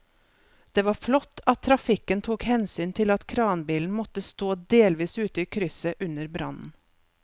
Det var flott at trafikken tok hensyn til at kranbilen måtte stå delvis ute i krysset under brannen.